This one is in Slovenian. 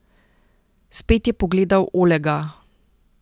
Spet je pogledal Olega.